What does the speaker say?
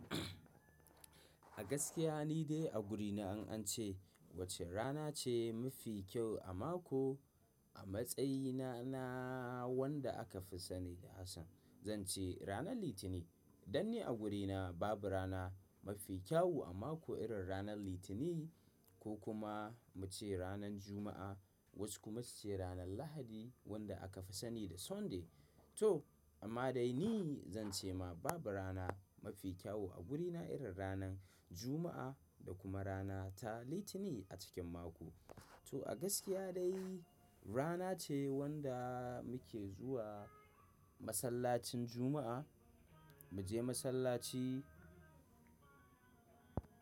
A gaskiya ni dai a gurina, in an ce, wacce rana ce mafi kyau a mako, a matsayina na wanda aka fi sani da Hassan, zan ce ranar Litinin. Dan ni a gurina babu rana mafi kyau a mako irin ranar Litinin ko kuma mu ce ranar Juma'a, wasu kuma su ce ranar Lahadi wanda aka fi sani da Sunday. To amma dai ni zan ce ma babu rana mafi kyawu a gurina irin ranar Juma'a da kuma rana ta Litinin a cikin mako. To a gaskiya dai rana ce wanda muke zuwa masallacin Juma'a, muje masallaci.